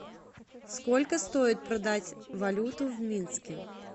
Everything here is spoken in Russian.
сколько стоит продать валюту в минске